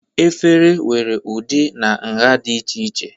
efere nwere ụdị na nha dị iche iche